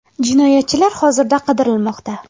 Jinoyatchilar hozirda qidirilmoqda.